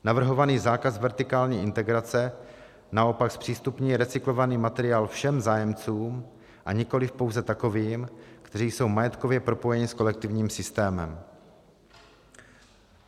Navrhovaný zákaz vertikální integrace naopak zpřístupní recyklovaný materiál všem zájemcům, a nikoliv pouze takovým, kteří jsou majetkově propojeni s kolektivním systémem.